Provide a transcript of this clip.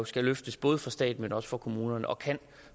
skal løftes både for staten men også for kommunerne og kan